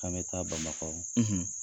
K'an bɛ taa Bamakɔ